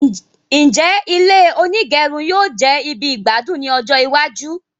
Njẹ ilé onígẹrun yóò jẹ ibì igbadun ní ọjọ iwájú?